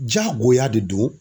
Jagoya de don